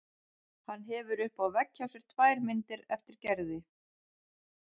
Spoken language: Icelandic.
Hann hefur uppi á vegg hjá sér tvær myndir eftir Gerði.